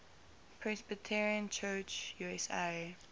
presbyterian church usa